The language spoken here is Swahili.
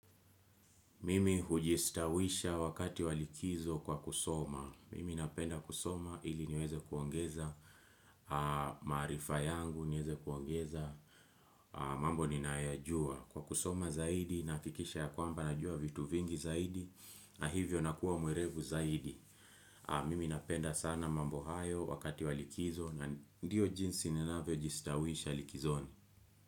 Mimi hujistawisha wakati walikizo kwa kusoma. Mimi napenda kusoma ili niweze kuongeza. Maarifa yangu niweze kuongeza. Mambo ni nayojua. Kwa kusoma zaidi na hikisha ya kwamba najua vitu vingi zaidi na hivyo nakuwa mwerevu zaidi. Mimi napenda sana mambo hayo wakati wa likizo na ndiyo jinsi ninavyo jistawisha likizoni.